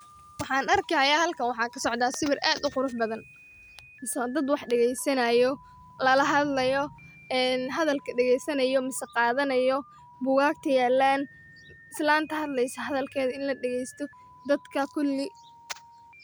Waxaan arki haya halkan waxaa kasocda sawir aad u qurux badan mise waa dad wax dageysanayo lalahadlayo ee hadalka dageysanayo mise qaadanayo bugagta yaalan islanta hadlaysa hadalkeeda in ladagaysto dadka kuli.